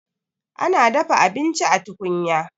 ana dafa abinci a tukunya